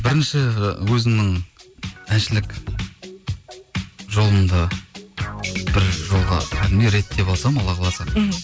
бірінші өзімнің әншілік жолымды бір жолға кәдімгі реттеп алсам алла қаласа мхм